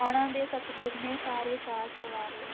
ਉਹਨਾਂ ਦੇ ਸਤਿਗੁਰ ਨੇ ਸਾਰੇ ਕਾਰਜ ਸਵਾਰੇ,